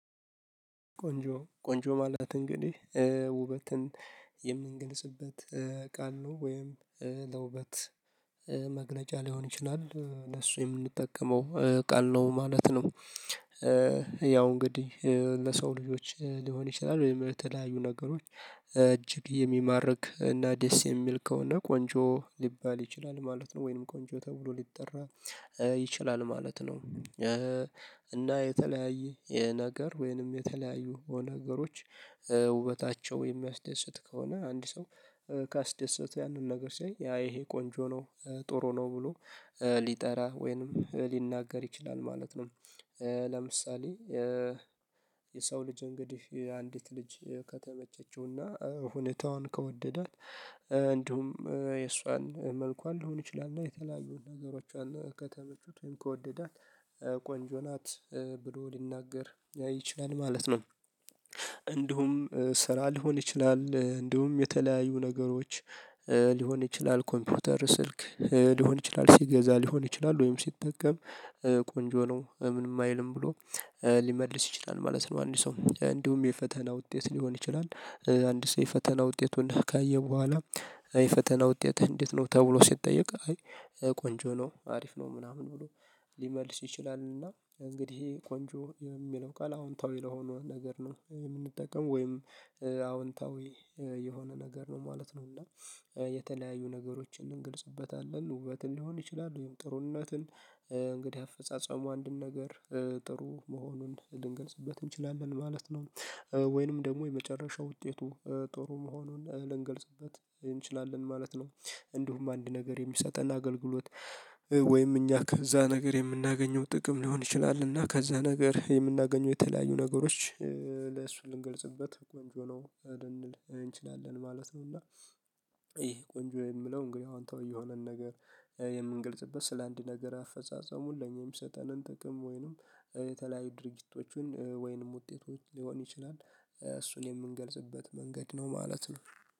ቆንጆ፣ ቆንጆ ማለት እንግዲህ ውበትን የምንገልጽበት ቃል ነው፤ ወይም ለውበት መግለጫ ሊሆን ይችላል ለእሱ የምንጠቀመው ቃል ነው ማለት ነው። ያው እንግዲህ ለሰው ልጆች ሊሆን ይችላል፤ ወይም የተለያዩ ነገሮች እጅግ የሚማርክ እና ደስ የሚል ከሆነ ቆንጆ ሊባል ይችላል ማለት ነው፤ ወይንም ቆንጆ ተብሎ ሊጠራ ይችላል ማለት ነው፤ እና የተለያየ የ ነገር ወይንም የተለያዩ ነገሮች ውበታቸው የሚያስደስት ከሆነ አንድ ሰው ካስደሰተው ያንን ነገር ሲያይ ያ ይሄ ቆንጆ ነው፣ ጥሩ ነው ብሎ ሊጠራ ወይንም ሊናገር ይችላል ማለት ነው። ለምሳሌ የሰው ልጅ እንግዲህ የአንዲት ልጅ ከተመቸችውና ሁኔታዋን ከወደዳት እንዲሁም የእሷን መልኳን ሊሆን ይችላል እና የተለያዩ ነገሮቿን ከተመቹት ወይም ከወደዳት ቆንጆ ናት ብሎ ሊናገር ይችላል ማለት ነው፤ እንዲሁም ስራ ሊሆን ይችላል እንዲሁም የተለያዩ ነገሮች ሊሆን ይችላል፤ ኮምፒውተር ስልክ ሊሆን ይችላል ሲገዛ ሊሆን ይችላል ወይም ሲጠቀም ቆንጆ ነው ምንም አይልም ብሎ ሊመልስ ይችላል ማለት ነው አንድ ሰው። እንዲሁም የፈተና ውጤት ሊሆን ይችላል አንድ ሰው የፈተና ውጤቱን ካየ በኋላ "የፈተና ውጤትህ እንዴት ነው?" ተብሎ ሲጠየቅ ቆንጆ ነው፣ አሪፍ ነው ምናምን ብሎ ሊመልስ ይችላል፤ እና እንግዲህ ቆንጆ የሚለው ቃል አዎንታዊ ለሆነው ነገር ነው የምንጠቀመው፤ ወይም አዎንታዊ የሆነ ነገር ነው ማለት ነው፤ እና የተለያዩ ነገሮችን እንገልጽበታለን ውበትን ሊሆን ይችላል ወይም ጥሩነትን እንግዲህ አፈጻጸሙ አንድን ነገር ጥሩ መሆኑን ልንገልጽበት እንችላለን ማለት ነው ወይንም ደግሞ የመጨረሻው ውጤቱ ጥሩ መሆኑን ልንገልጽበት እንችላለን ማለት ነው፤ እንዲሁም አንድ ነገር የሚሰጠን አገልግሎት ወይም እኛ ከዛ ነገር የምናገኘው ጥቅም ሊሆን ይችላል እና ከዛ ነገር የምናገኘው የተለያዩ ነገሮች ለእሱ ልንገልጽበት ቆንጆ ነው ልንል እንችላለን ማለት ነው፤ እና ይሄ ቆንጆ የሚለው እንግዲህ አዎንታዊ የሆነን ነገር የምንግልጽበት ስለአንድ ነገር አፈጻጸሙን ለኛ የሚሰጠንን ጥቅም ወይንም የተለያዩ ድርጊቶችን ወይንም ውጤቶች ሊሆን ይችላል እሱን የምንገልጽበት መንገድ ነው ማለት ነው።